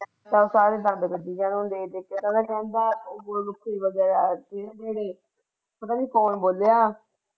ਬਸ ਇਹ ਹੀ ਕੰਮ ਕਰਦੇ ਪਤਾ ਨਹੀਂ ਕੌਣ ਬੋਲਿਆ।